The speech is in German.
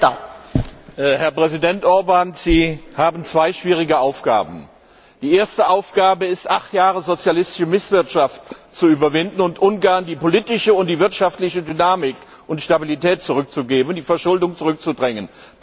Frau Präsidentin, Herr Ratspräsident Orbán! Sie haben zwei schwierige Aufgaben. Die erste Aufgabe ist, acht Jahre sozialistische Misswirtschaft zu überwinden und Ungarn die politische und wirtschaftliche Dynamik und Stabilität zurückzugeben und die Verschuldung zurückzudrängen.